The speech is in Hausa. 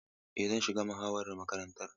Eh, zan shiga muhawarar makarantar.